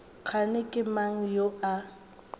kgane ke mang yo a